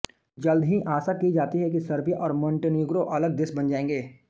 जल्द ही आशा की जाती है कि सर्बिया और मोंटेनीग्रो अलग देश बन जायेंगे